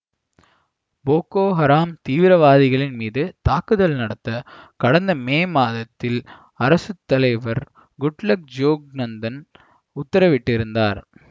Poco Haram தீவிரவாதிகள் மீது தாக்குதல் நடத்த கடந்த மே மாதத்தில் அரசு தலைவர் குட்லக் ஜோக்னத்தன் உத்தரவிட்டிருந்தார்